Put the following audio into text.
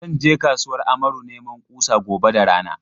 Zan je kasuwar Amaru neman kusa gobe da rana.